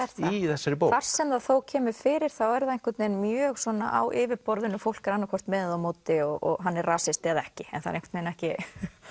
í þessari bók þar sem það þó kemur fyrir er það mjög svona á yfirborðinu fólk er annað hvort með eða á móti og hann er rasisti eða ekki en það er ekki